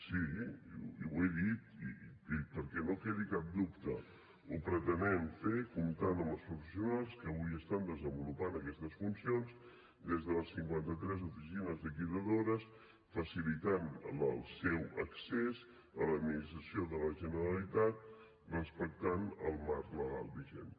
sí i ho he dit i perquè no quedi cap dubte ho pretenem fer comptant amb els professionals que avui estan desenvolupant aquestes funcions des de les cinquanta tres oficines liquidadores facilitant el seu accés a l’administració de la generalitat respectant el marc legal vigent